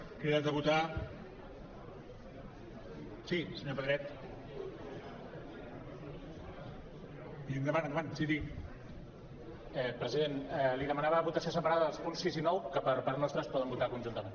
president li demanava votació separada dels punts sis i nou que per part nostra es poden votar conjuntament